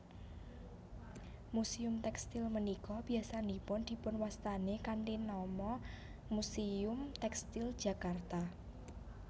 Muséum tèkstil punika biyasanipun dipunwastani kanthi nama Muséum Tèkstil Jakarta